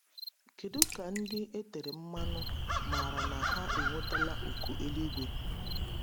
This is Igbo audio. Kedu ka ndị etere mmanụ maara na ha enwetala oku eluigwe?